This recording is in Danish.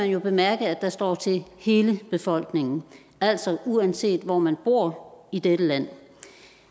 jo bemærke at der står til hele befolkningen altså uanset hvor man bor i dette land